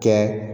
Kɛ